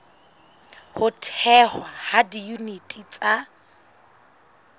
ho thehwa ha diyuniti tsa